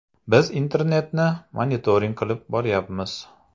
Biz internetni monitoring qilib boryapmiz.